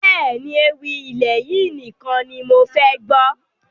Bẹ́ẹ̀ni, ewì ilẹ̀ yìí nìkan ni mofẹ gbọ́